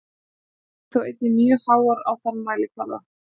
Þær eru þó einnig mjög háar á þann mælikvarða.